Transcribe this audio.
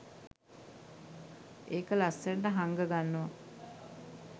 එක ලස්සනට හංග ගන්නවා